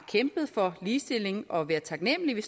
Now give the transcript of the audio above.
kæmpet for ligestilling at være taknemlige